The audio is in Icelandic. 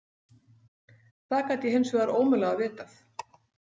Það gat ég hins vegar ómögulega vitað.